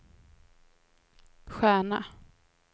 stjärna